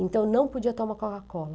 Então, não podia tomar Coca-Cola.